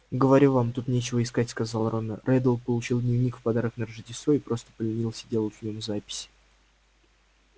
говорю вам тут нечего искать сказал рон реддл получил дневник в подарок на рождество и просто поленился делать в нём записи